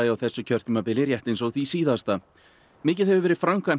á þessu kjörtímabili rétt eins og því síðasta mikið hefur verið framkvæmt